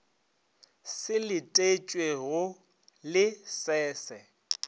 se letetšwego le se se